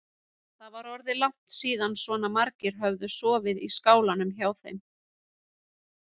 Það var orðið langt síðan svona margir höfðu sofið í skálanum hjá þeim.